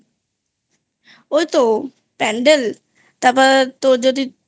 ওই তো Pandal তা বাদে তোর যদি